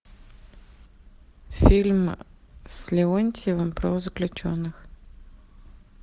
фильм с леонтьевым про заключенных